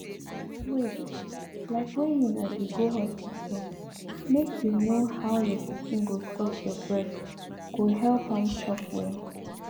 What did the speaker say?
wait like when una dey go hospital make you know how your pikin go suck your breast go help am chop well well